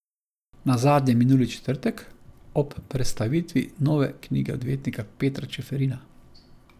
Nazadnje minuli četrtek, ob prestavitvi nove knjige odvetnika Petra Čeferina.